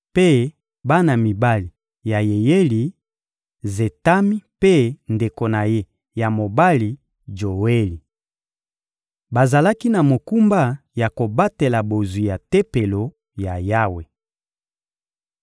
mpe bana mibali ya Yeyeli: Zetami mpe ndeko na ye ya mobali Joeli. Bazalaki na mokumba ya kobatela bozwi ya Tempelo ya Yawe.